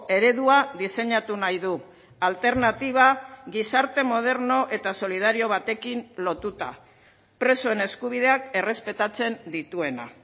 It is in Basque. eredua diseinatu nahi du alternatiba gizarte moderno eta solidario batekin lotuta presoen eskubideak errespetatzen dituena